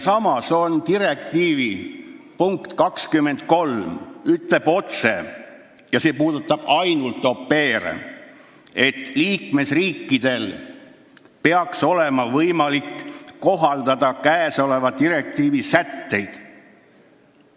Samas ütleb direktiivi punkt 23 otse ainult au pair'ide kohta, et liikmesriikidel peaks olema võimalik kohaldada käesoleva direktiivi sätteid.